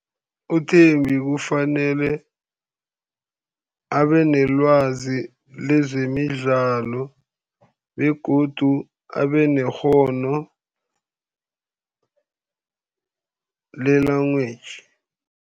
UThembi kufanele abe nelwazi lezemidlalo, begodu abe nekghono le-language.